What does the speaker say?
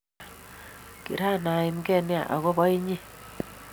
Kiran aimgee nea ako bo inye